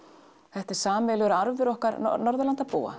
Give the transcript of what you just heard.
þetta er sameiginlegur arfur okkar Norðurlandabúa